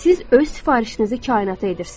Siz öz sifarişinizi kainata edirsiniz.